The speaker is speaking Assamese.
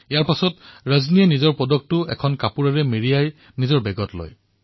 ইয়াৰ পিছত তেওঁ নিজৰ পদকটো কাপোৰেৰে সামৰি বেগত ভৰালে